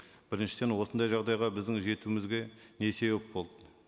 біріншіден осындай жағдайға біздің жетуімізге не себеп болды